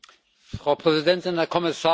Frau Präsidentin, Herr Kommissar!